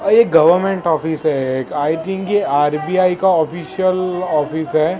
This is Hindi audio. ये गवर्नमेंट ऑफिस है ये एक आई थिंक आर_बी_आई का ऑफिशियल ऑफिस है।